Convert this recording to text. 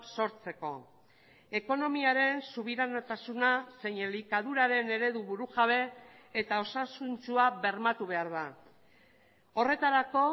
sortzeko ekonomiaren subiranotasuna zein elikaduraren eredu burujabe eta osasuntsua bermatu behar da horretarako